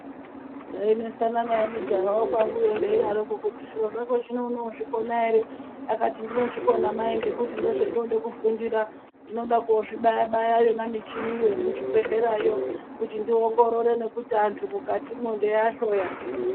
Ndainesana naye mujaha wekwanguyo ndeidaroko kuti zviro zvako zvino unozvikona here. Akati ndinozvikona mai ngekuti ndozvendinoda kufundira. Ndinoda kozvibaya-baya yona micheniyo yemuzvibhedhlerayo kuti ndiongorore nekuti antu mukatimo ndeiahloya.